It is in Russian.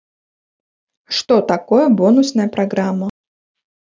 что такое бонусная программа